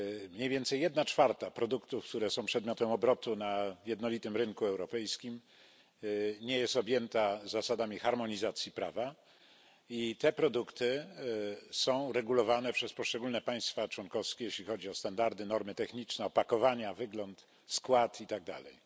Mniej więcej jedna czwarta produktów, które są przedmiotem obrotu na jednolitym rynku europejskim nie jest objęta zasadami harmonizacji prawa i te produkty są regulowane przez poszczególne państwa członkowskie, jeśli chodzi o standardy, normy techniczne, opakowania, wygląd, skład i tak dalej.